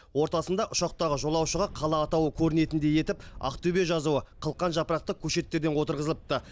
ортасында ұшақтағы жолаушыға қала атауы көрінетіндей етіп ақтөбе жазуы қылқан жапырақты көшеттерден отырғызылыпты